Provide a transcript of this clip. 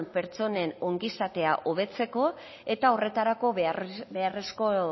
pertsonen ongizatea hobetzeko eta horretarako beharrezko